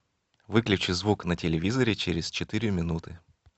выключи звук на телевизоре через четыре минуты